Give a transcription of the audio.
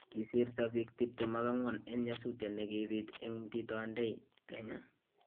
Kisirto biik 24 en nyasutiet nekibiit en Mtito Andei , Kenya.